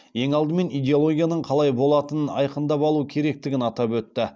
ең алдымен идеологияның қалай болатынын айқындап алу керектігін атап өтті